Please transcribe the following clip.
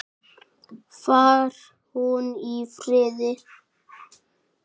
Far hún í friði.